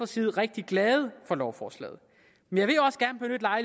side rigtig glade for lovforslaget